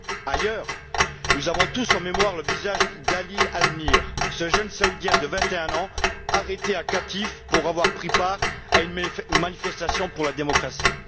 Ailleurs, nous avons tous en mémoire le visage d'Ali Al-Nimr, ce jeune Saoudien de 21 ans, arrêté à Qatif, pour avoir pris part à une manifestation pour la démocratie.